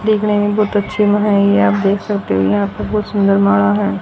देखने में बहोत अच्छी है ये आप देख सकते हो यहां पे बहोत सुंदर माडा है।